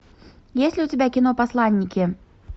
есть ли у тебя кино посланники